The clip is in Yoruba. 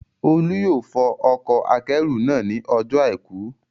Olú yóò fọ ọkọ̀-akẹ́rù náà ní ọjọ́ àìkú